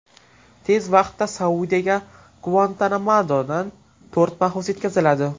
Tez vaqtda Saudiyaga Guantanamodan to‘rt mahbus yetkaziladi.